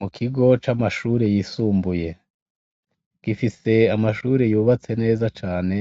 Mu kigo c'amashure yisumbuye. Gifise amashure yubatse neza cane,